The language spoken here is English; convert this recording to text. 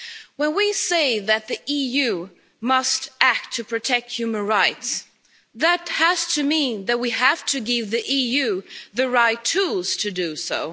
When we say that the EU must act to protect human rights, that has to mean that we have to give the EU the right tools to do so.